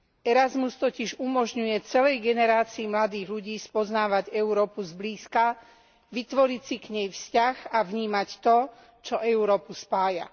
Erasmus totiž umožňuje celej generácii mladých ľudí spoznávať Európu zblízka, vytvoriť si k nej vzťah a vnímať to, čo Európu spája.